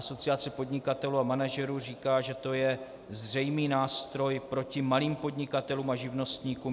Asociace podnikatelů a manažerů říká, že to je zřejmý nástroj proti malým podnikatelům a živnostníkům.